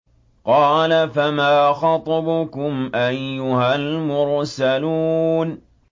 قَالَ فَمَا خَطْبُكُمْ أَيُّهَا الْمُرْسَلُونَ